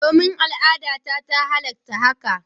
Domin, al'adata ta halatta hakan.